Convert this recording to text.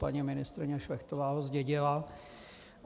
Paní ministryně Šlechtová ho zdědila.